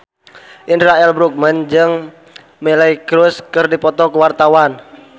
Indra L. Bruggman jeung Miley Cyrus keur dipoto ku wartawan